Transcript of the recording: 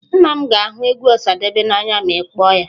Nna m ga ahu egwu Osadebe n'anya ma i kpoo ya.